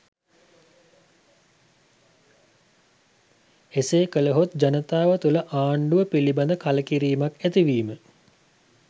එසේ කළහොත් ජනතාව තුළ ආණ්ඩුව පිළිබද කළකිරීමක් ඇතිවීම